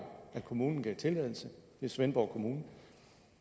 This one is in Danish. at kommunen gav tilladelse det er svendborg kommune